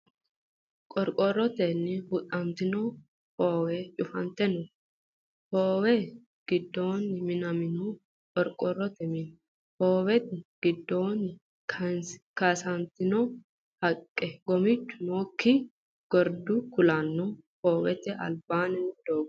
Qorqorrote huxxantino hoowe, cufante no hoowe giddoonni minamino qorqorrote mine, hoowete giddoonni kaasantino haqqe, gomichu nookki gordu kuulanna hoowete albaanni noo doogo.